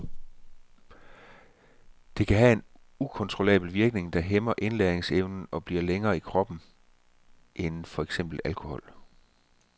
Det kan have en ukontrollabel virkning, det hæmmer indlæringsevnen og bliver længere i kroppen end for eksempel alkohol.